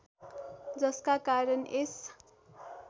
जसका कारण यस